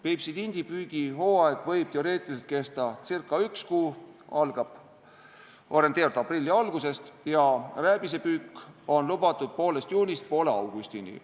Peipsi tindi püügi hooaeg võib teoreetiliselt kesta ca üks kuu – algab orienteerivalt aprilli algusest – ja rääbise püük on lubatud poolest juulist poole augustini.